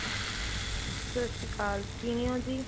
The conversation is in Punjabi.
ਸਤਿ ਸ਼੍ਰੀ ਅਕਾਲ ਕਿਵੇਂ ਹੋ ਜੀ